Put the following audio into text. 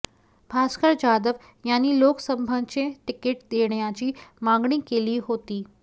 भास्कर जाधव यांनी लोकसभेचं तिकीट देण्याची मागणी केली होती